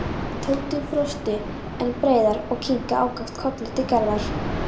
Tóti brosti enn breiðar og kinkaði ákaft kolli til Gerðar.